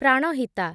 Pranhita